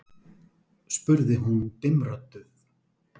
spurði hún dimmrödduð.